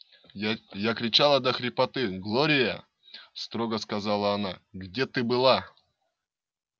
я кричала до хрипоты глория строго сказала она где ты была